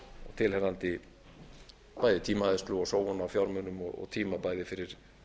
tilheyrandi bæði tímaeyðslu og sóun á fjármunum og tíma bæði fyrir